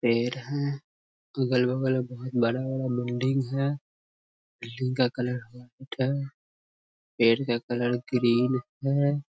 पेड़ है अगल-बगल बहुत बड़ा-बड़ा बिल्डिंग हैं बिल्डिंग का कलर वाइट है पेड़ का कलर ग्रीन हैं।